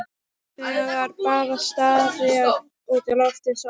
Þegir bara og starir út í loftið eins og álka.